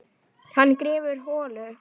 Hann grefur holu.